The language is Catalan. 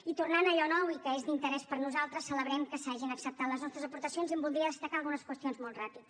i tornant a allò nou i que és d’interès per nosaltres celebrem que s’hagin acceptat les nostres aportacions i en voldria destacar algunes qüestions molt ràpid